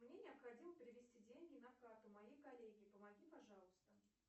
мне необходимо перевести деньги на карту моей коллеге помоги пожалуйста